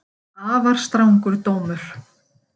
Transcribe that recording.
Afar strangur dómur